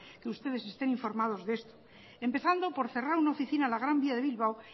que ustedes estén informados de esto empezando por cerrar una oficina en la gran vía de bilbao